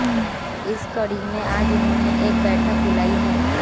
इस कड़ी में आज उन्होंने एक बैठक बुलाई है